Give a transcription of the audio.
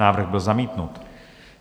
Návrh byl zamítnut.